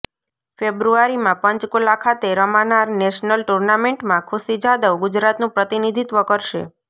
ફ્ેબ્રુઆરીમાં પંચકુલા ખાતે રમાનાર નેશનલ ટુર્નામેન્ટમાં ખુશી જાદવ ગુજરાતનું પ્રતિનિધીત્વ કરશે